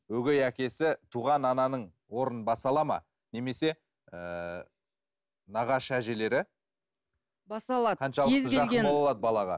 өгей әкесі туған ананың орнын баса алады ма немесе ыыы нағашы әжелері баса алады кез келген жақын бола алады балаға